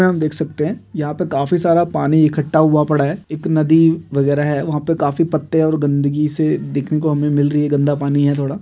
यहाँ हम देख सकते हैं यहाँ पर काफी सारा पानी इकट्ठा हुआ पड़ा है एक नदी वगैरह है वहाँ पर काफी पत्ते और गंदगी से देखने को मिल रही है गंदा पानी है थोड़ा--